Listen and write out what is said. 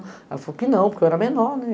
Ela falou que não, porque eu era menor, né?